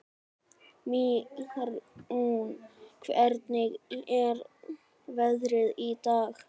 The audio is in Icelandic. Mýrún, hvernig er veðrið í dag?